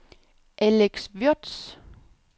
Alex Würtz